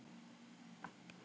Lítum fyrst á seinna atriðið.